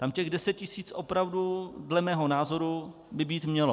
Tam těch 10 tisíc opravdu, dle mého názoru, by být mělo.